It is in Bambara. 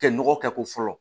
Kɛ nɔgɔ kɛ ko fɔlɔ